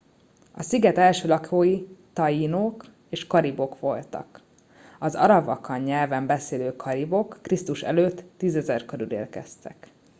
a sziget első lakói taínók és karibok voltak. az arawakan nyelven beszélő karibok kr.e. 10 000 körül érkeztek